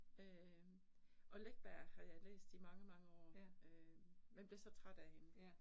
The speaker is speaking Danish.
Øh og Läckberg har jeg læst i mange mange år, øh men blev så træt af hende